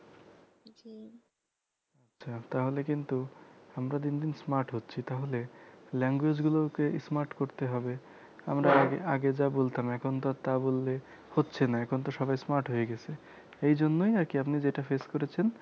আচ্ছা তাহলে কিন্ত আমরা দিনদিন smart হচ্ছি তাহলে language গুলো কে smart করতে হবে আমরা আগে আগে যা বলতাম এখন তো আর তা বললে হচ্ছে না এখন তো সবাই smart হয়ে গেছে এই জন্যই আরকি আপনি যেটা face করেছেন